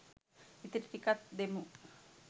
ඉතිරි ටිකත් දෙමු